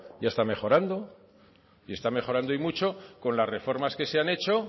ya está mejorando y está mejorando y mucho con las reformas que se han hecho